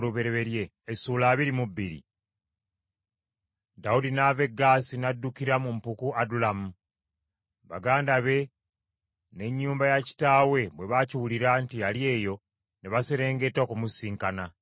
Dawudi n’ava e Gaasi, n’addukira mu mpuku Adulamu. Baganda be n’ennyumba ya kitaawe bwe baakiwulira nti ali eyo, ne baserengeta okumusisinkana.